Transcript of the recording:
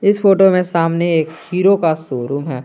इस फोटो में सामने एक हीरो का शोरूम है।